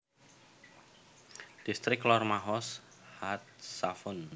Distrik Lor Mahoz HaTzafon